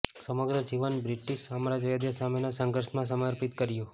સમગ્ર જીવન બ્રિટીશ સામ્રાજ્યવાદ સામેના સંઘર્ષમાં સમર્પિત કર્યું